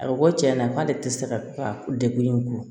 A bɛ ko tiɲɛ na k'ale tɛ se ka degun ko